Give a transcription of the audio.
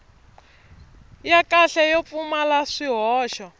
ya kahle yo pfumala swihoxo